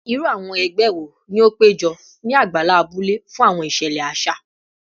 Iru awọn ẹgbẹ wo ni o pejọ ni agbala abule fun awọn iṣẹlẹ aṣa?